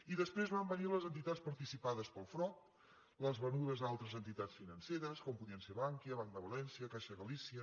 i després van venir les entitats participades pel frob les venudes a altres entitats financeres com podien ser bankia banc de valència caixa galicia